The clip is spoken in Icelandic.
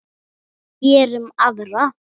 Gerum aðra.